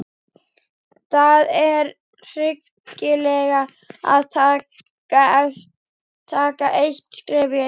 Það er hyggilegra að taka eitt skref í einu.